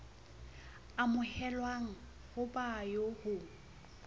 amohelwang ho ba eo ho